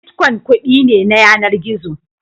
Bitkwon kuɗi ne na yanar gizo